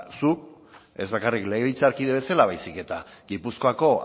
zu ez bakarrik bezala legebiltzarkide bezala baizik eta gipuzkoako